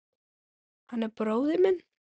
Hann er bróðir minn.